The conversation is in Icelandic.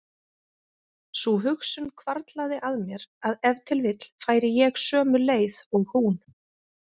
Sú hugsun hvarflaði að mér að ef til vill færi ég sömu leið og hún.